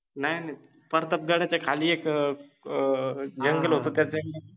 नाही नाही प्रतापगडाच्या खालि एक जंगल होत त्याच एक